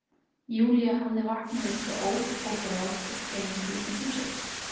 Júlía hafði vaknað upp við óp og grát og kvein fyrir utan húsið.